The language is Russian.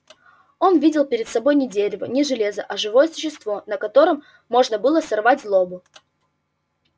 он видел перед собой не дерево не железо а живое существо на котором можно было сорвать злобу